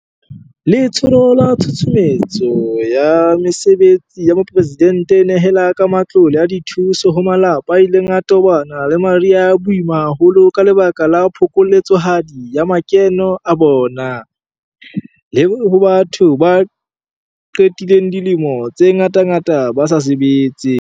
Letsholo la Tshusumetso ya Mesebetsi ya Mopresidente e nehela ka matlole a dithuso ho malapa a ileng a tobana le mariha a boima haholo ka lebaka la phokoletsohadi ya makeno a bona, le ho batho ba qedileng dilemo tse ngatangata ba sa sebetse.